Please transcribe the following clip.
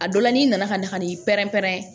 A dɔ la n'i nana ka na ka n'i pɛrɛn-pɛrɛn